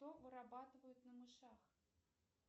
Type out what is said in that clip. что вырабатывают на мышах